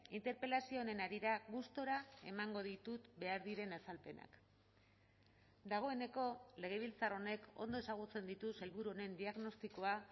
interpelazio honen harira gustura emango ditut behar diren azalpenak dagoeneko legebiltzar honek ondo ezagutzen ditu sailburu honen diagnostikoa